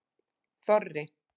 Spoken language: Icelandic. Þorri